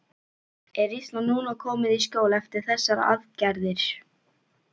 Er Ísland núna komið í skjól eftir þessar aðgerðir?